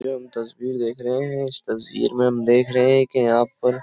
आप तस्वीर देख रहे हैं इस तस्वीर में हम देख रहे हैं कि यहां पर --